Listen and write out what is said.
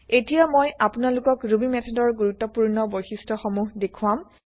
এতিয়া মই আপোনালোকক ৰুবি মেথডৰ গুৰুত্বপুৰ্ণ বৈশিষ্ট্য সমুহ দেখুৱাম